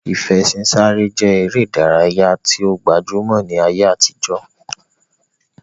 Ìfẹṣinsáré je ere idaraya yi o gbajumo ni aye atijo.